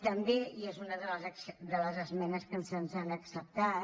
també i és una de les esmenes que se’ns han acceptat